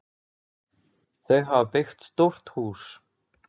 Þau hafa byggt stórt hús.